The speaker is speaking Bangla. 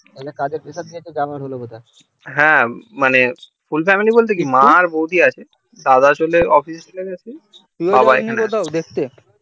হ্যাঁ মানে মা আর বৌদি আছে দাদা চলে যায় অফিস এ